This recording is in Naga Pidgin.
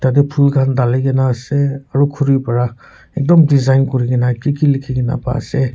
yate phul khan dhali ke na ase aru khori para ekdum design koriki ke na kiki likhi na paise.